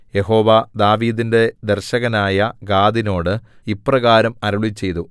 യഹോവ ദാവീദിന്റെ ദർശകനായ ഗാദിനോടു ഇപ്രകാരം അരുളിച്ചെയ്തു